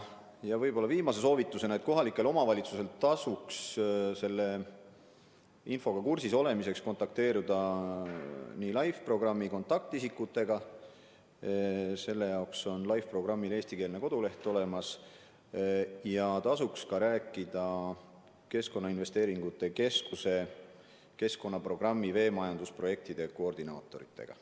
Viimase aja soovitus on, et kohalikel omavalitsustel tasuks selle infoga kursis olemiseks kontakteeruda LIFE programmi kontaktisikutega – LIFE programmil on ka eestikeelne koduleht olemas – ja rääkida ka Keskkonnainvesteeringute Keskuse keskkonnaprogrammi veemajandusprojektide koordinaatoritega.